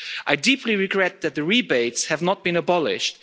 I deeply regret that the rebates have not been abolished.